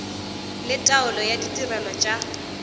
le taolo ya ditirelo tša